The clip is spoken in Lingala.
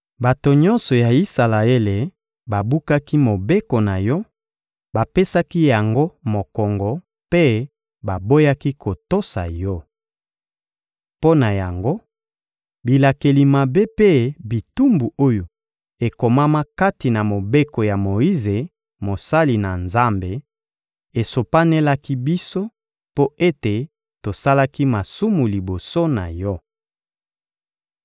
Bato nyonso ya Isalaele babukaki Mobeko na Yo, bapesaki yango mokongo mpe baboyaki kotosa Yo. Mpo na yango, bilakeli mabe mpe bitumbu oyo ekomama kati na Mobeko ya Moyize, mosali na Nzambe, esopanelaki biso, mpo ete tosalaki masumu liboso na Yo.